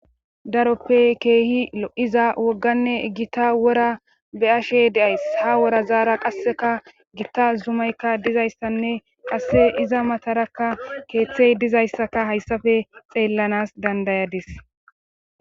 Daroppe keehi o'iza wogganne gitta wora be ashey deays ha wora zaara qasseka gitta zumaykka dizayssanne qasse iza matarakka keeththey dizayssaka hayssafe xeellanas dandayadis.